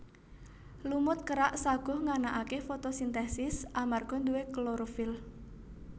Lumut kerak saguh nganakake fotosintesis amarga nduwe klorofil